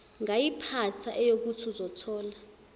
ngayiphatha eyokuthi uzothola